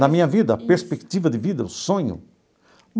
Na minha vida, perspectiva de vida, o sonho?